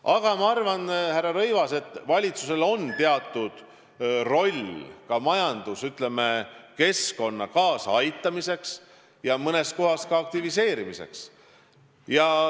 Aga ma arvan, härra Rõivas, et valitsusel on teatud roll majanduskeskkonna toetamisel ja mõnes kohas ka aktiviseerimisel.